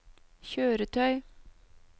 kjøretøy